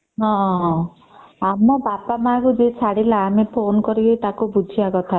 ହୁଁ ଆମ ବାପା ମା ଙ୍କୁ ଯୋଉ ଛାଡିଲେ ଆମେ Phone କରିକି ବୁଝିବା କଥା